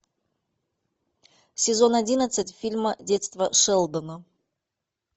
сезон одиннадцать фильма детство шелдона